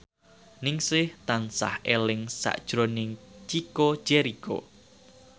Ningsih tansah eling sakjroning Chico Jericho